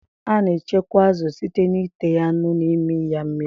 A na echekwa azụ site n'ite ya nnu na imi ya mmiri